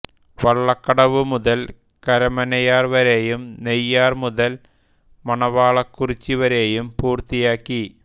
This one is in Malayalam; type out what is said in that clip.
വള്ളക്കടവു മുതൽ കരമനയാർ വരെയും നെയ്യാർ മുതൽ മണവാളക്കുറിച്ചി വരെയും പൂർത്തിയാക്കി